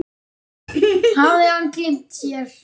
Hafði hann gleymt sér?